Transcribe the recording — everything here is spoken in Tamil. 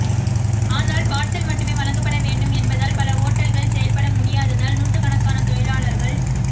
ஆனால் பார்சல் மட்டுமே வழங்கப்பட வேண்டும் என்பதால் பல ஓட்டல்கள் செயல்பட முடியாததால் நுாற்றுக்கணக்கான தொழிலாளர்கள்